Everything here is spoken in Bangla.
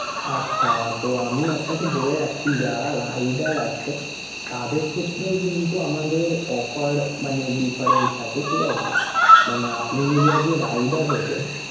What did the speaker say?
আচ্ছা তো আমি আপনাকে বলে রাখি যারা rider আছে তাদের ক্ষেত্রেও কিন্তু আমাদের offer মানে different থাকে, ঠিক আছে! মানে আপনি যদি আজকে rider হতেন